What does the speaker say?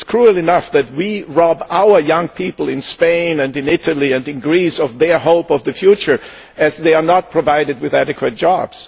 It is cruel enough that we rob our young people in Spain, in Italy and in Greece of their hope for the future, as they are not provided with adequate jobs.